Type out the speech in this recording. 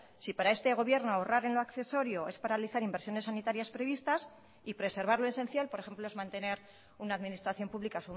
si para este gobierno ahorrar en lo accesorio es paralizar inversiones sanitarias previstas y preservar lo esencial por ejemplo es mantener una administración pública